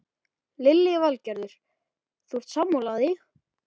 Lillý Valgerður: Þú ert sammála því?